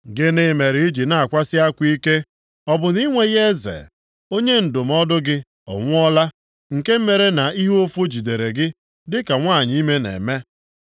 Gịnị mere i ji na-akwasị akwa ike? Ọ bụ na i nweghị eze? Onye ndụmọdụ gị ọ nwụọla nke mere na ihe ụfụ jidere gị dịka nwanyị ime na-eme?